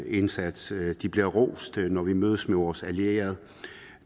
indsats de bliver rost når vi mødes med vores allierede